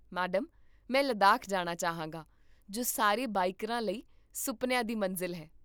madam, ਮੈਂ ਲੱਦਾਖ ਜਾਣਾ ਚਾਹਾਂਗਾ, ਜੋ ਸਾਰੇ ਬਾਈਕਰਾਂ ਲਈ ਸੁਪਨਿਆਂ ਦੀ ਮੰਜ਼ਿਲ ਹੈ